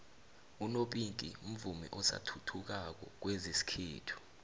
unopinku mvumi osathuthukako kwezesikhethu